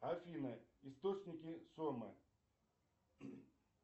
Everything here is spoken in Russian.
афина источники сомы